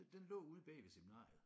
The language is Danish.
Den den lå ude bag ved seminariet